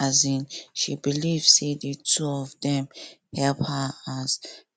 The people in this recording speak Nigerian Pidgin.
um she believe say the two of dem help her as